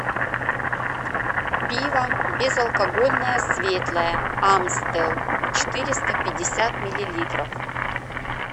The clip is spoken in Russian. пиво безалкогольное светлое амстел четыреста пятьдесят миллилитров